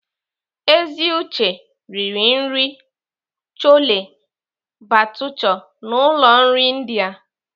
Eziuche riri nri Chole bhature na ụlọ nri India.